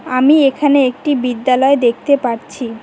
আমি এখানে একটি বিদ্যালয় দেখতে পাচ্ছি।